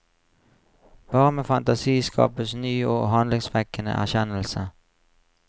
Bare med fantasi skapes ny og handlingsvekkende erkjennelse.